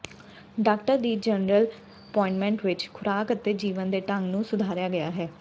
doctor ਦੀ general appointment ਵਿਚ ਖੁਰਾਕ ਅਤੇ ਜੀਵਨ ਦੇ ਢੰਗ ਨੂੰ ਸੁਧਾਰਿਆ ਗਿਆ ਹੈ